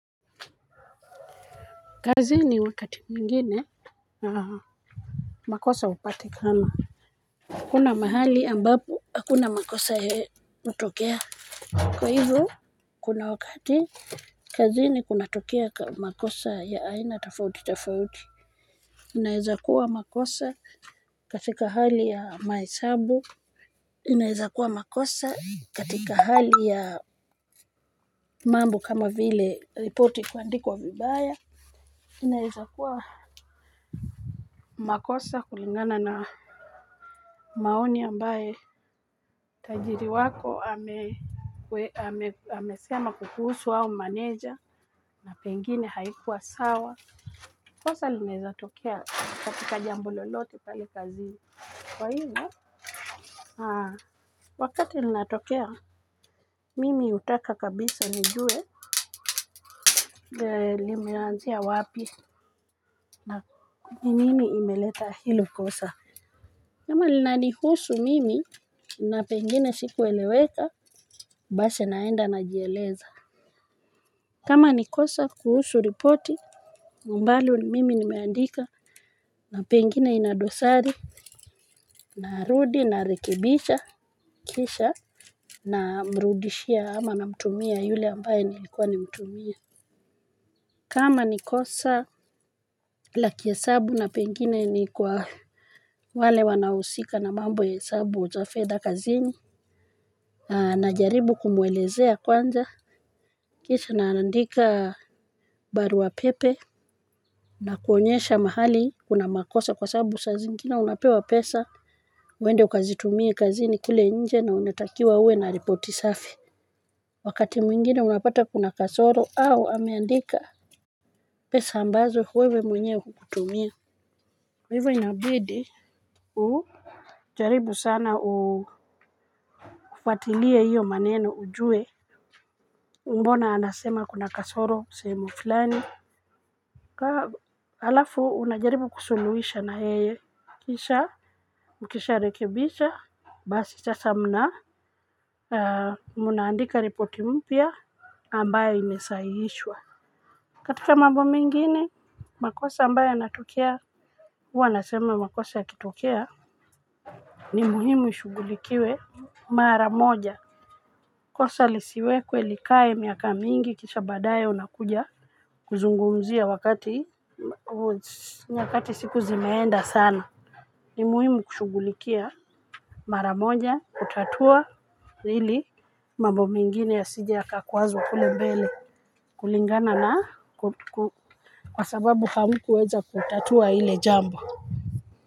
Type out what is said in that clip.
Kazini wakati mwingine makosa hupatikana hakuna mahali ambapo hakuna makosa hutokea. Kwa hivo kuna wakati kazini kunatokea makosa ya aina tofauti tofauti inaeza kuwa makosa katika hali ya mahesabu inaeza kuwa makosa katika hali ya mambo kama vile ripoti kuandikwa vibaya inaeza kuwa makosa kulingana na maoni ambaye tajiri wako ameweka. Amesema kukuhusu au meneja na pengine haikuwa sawa. Kosa linaeza tokea katika jambo lolote pale kazini kwa hivyo. Wakati linatokea, mimi hutaka kabisa nijue, limeanzia wapi na nini imeleta hilo kosa. Kama linanihusu mimi na pengine sikueleweka, basi naenda najieleza. Kama nikosa kuhusu ripoti, ambalo mimi nimeandika na pengine inadosari, narudi, narekebisha, kisha, namrudishia ama namtumia yule ambaye nilikuwa nimtumie. Kama ni kosa la kihesabu na pengine ni kwa wale wanahusika na mambo ya hesabu za fedha kazini na na jaribu kumwelezea kwanza. Kisha na andika barua pepe nakuonyesha mahali kuna makosa kwa sababu saa zingine unapewa pesa uende ukazitumie kazini kule inje na unatakiwa uwe na ripoti safi wakati mwingine unapata kuna kasoro au ameandika pesa ambazo wewe mwenyewe hutumii. Kwa hivyo inabidi ujaribu sana ufuatilie hiyo maneno ujue. Mbona anasema kuna kasoro sehemu fulani alafu unajaribu kusuluhisha na yeye kisha Ukisharekebisha Basi sasa mna mna andika ripoti mpya ambayo imesahihishwa. Katika mambo mengine makosa ambayo yanatokea huwa nasema makosa yakitokea ni muhimu ishughulikiwe mara moja. Kosa lisiwekwe likae miaka mingi kisha badaye unakuja kuzungumzia wakati siku zimeenda sana. Ni muhimu kushughulikia mara moja kutatua hili mambo mengine yasije yakakwazwa kule mbele kulingana na kwa sababu hamku weza kutatua hile jambo.